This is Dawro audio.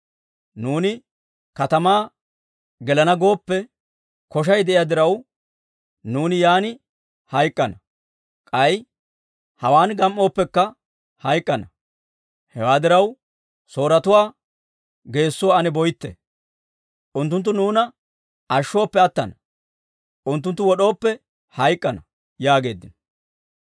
Nuuni katamaa gelana gooppe, koshay de'iyaa diraw, nuuni yaan hayk'k'ana. K'ay hawaan gam"ooppekka hayk'k'ana. Hewaa diraw, Sooretuwaa geessuwaa ane boytte. Unttunttu nuuna ashshooppe attana; unttunttu wod'ooppe hayk'k'ana» yaageeddino.